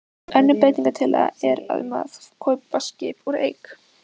Önnur breytingatillaga er um að kaupa skip úr eik.